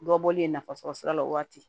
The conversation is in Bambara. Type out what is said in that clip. Dɔ bɔlen nafasɔrɔ sira la o waati